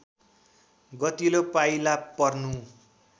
गतिलो पाइला पर्नु